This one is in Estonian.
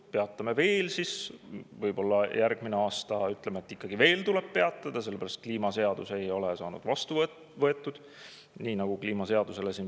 Me peatame veel, võib-olla järgmisel aastal tuleb veel peatada, sellepärast et kliimaseadus ei ole vastu võetud – siin viidatakse kliimaseadusele.